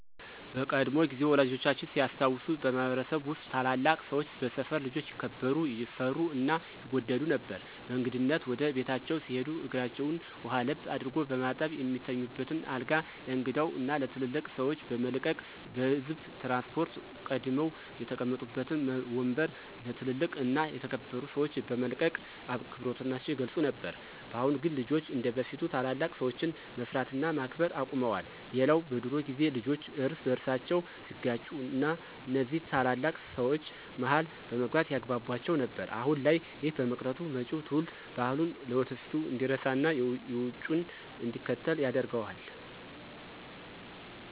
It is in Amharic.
በቀድሞ ጊዜ ወላጆቻችን ሲያስታውሱ በማህበረሰብ ውስጥ ታላላቅ ሰወች በሰፈር ልጆች ይከበሩ፣ ይፈሩ እና ይወደዱ ነበር። በእንግድነት ወደ ቤታቸው ሲሄዱ እግራቸውን ውሃ ለብ አድርጎ በማጠብ፣ የሚተኙበትን አልጋ ለእንግዳው እና ለትልልቅ ሰወች በመልቀቅ፤ በህዝብ ትራንስፖርት ቀድመው የተቀመጡበትን ወምበር ለ ትልልቅ እና የተከበሩ ሰወች በመልቀቅ አክብሮታቸውን ይገልፁ ነበር። በአሁን ግን ልጆች እንደበፊት ታላላቅ ሰወችን መፍራት እና ማክበር አቁመዋል። ሌላው በድሮ ጊዜ ልጆች እርስ በርሳቸው ሲጋጩ እነዚ ታላላቅ ሰወች መሀል በመግባት ያግቧቧቸው ነበር። አሁን ላይ ይህ በመቅረቱ መጪው ትውልድ ባህሉን፣ ትውፊቱን እንዲረሳና የውጩን እንዲከተል ያደርገዋል።